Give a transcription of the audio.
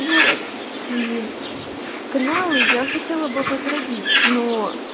вот и каналы я хотела бы возродить но